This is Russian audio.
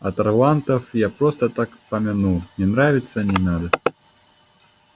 а тарлантов я просто так помянул не нравятся не надо